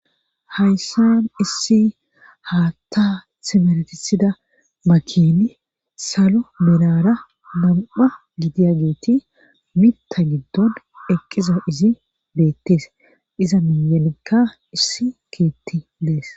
hayssan issi haatta simeresida makini salo melara nam'a gidiyageeti mitta giddon eqqiza izi beettees iza miyenekka issi keetti dees